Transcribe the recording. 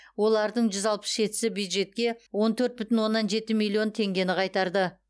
олардың жүз алпыс жетісі бюджетке он төрт бүтін оннан жеті миллион теңгені қайтарды